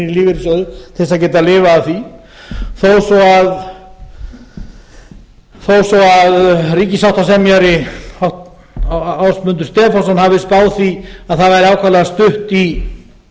til að geta lifað af því þó svo ríkissáttasemjari ásmundur stefánsson hafi spáð því að það væri ákaflega stutt í